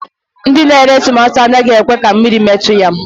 Ndị na-ere tomato anaghị ekwe ka mmiri metụ ya